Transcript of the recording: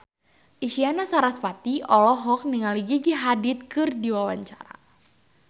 Isyana Sarasvati olohok ningali Gigi Hadid keur diwawancara